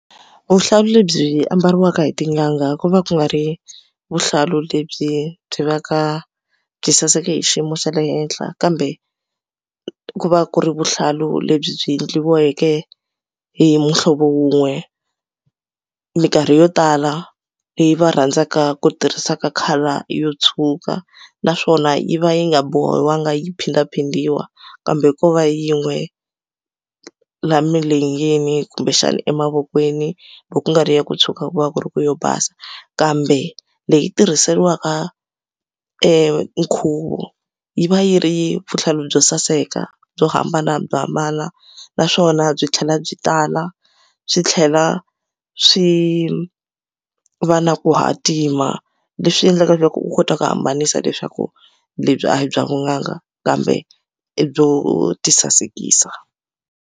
Vuhlalu lebyi ambariwaka hi tin'anga ku va ku nga ri vuhlalu lebyi byi va ka byi saseke hi xiyimo xa le henhla kambe ku va ku ri vuhlalu lebyi byi endliweke hi muhlovo wun'we mikarhi yo tala leyi va rhandzaka ku tirhisaka color yo tshuka naswona yi va yi nga bohangi yi phindaphindiwa kambe ko va yin'we la milenge yini kumbexana emavokweni loko ku nga ri ya ku tshuka ku va ku ri ku yo basa kambe leyi tirhiseriwaka nkhuvo yi va yi ri vuhlalu byo saseka byo hambanahambana naswona byi tlhela byi tala swi tlhela swi va na ku hatima leswi endlaka leswaku u kota ku hambanisa leswaku lebyi a hi bya vun'anga kambe i byo ti sasekisa.